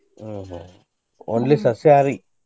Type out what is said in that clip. ಹ್ಮ ಹ್ಮ only ಸಸ್ಯಾಹಾರಿ.